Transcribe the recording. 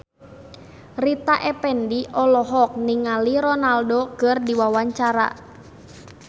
Rita Effendy olohok ningali Ronaldo keur diwawancara